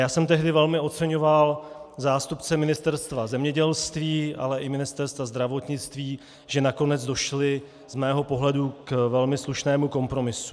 Já jsem tehdy velmi oceňoval zástupce Ministerstva zemědělství, ale i Ministerstva zdravotnictví, že nakonec došli z mého pohledu k velmi slušnému kompromisu.